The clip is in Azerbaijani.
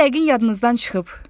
Sizin yəqin yadınızdan çıxıb.